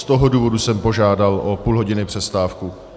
Z toho důvodu jsem požádal o půl hodiny přestávku.